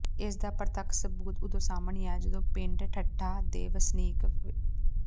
ਇਸ ਦਾ ਪ੍ਰਤੱਖ ਸਬੂਤ ਉਦੋਂ ਸਾਹਮਣੇ ਆਇਆ ਜਦੋਂ ਪਿੰਡ ਠੱਟਾ ਦੇ ਵਸਨੀਕ ਸ